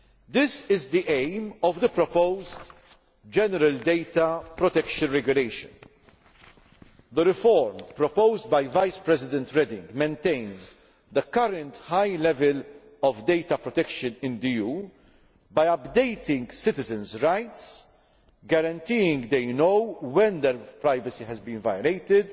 This is the aim of the proposed general Data Protection Regulation. The reform proposed by Vice President Reding maintains the current high level of data protection in the EU by updating citizens' rights, guaranteeing they know when their privacy has been violated